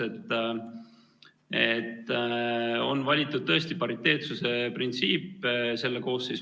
Selle koosseisu alguses on valitud tõesti pariteetsuse printsiip.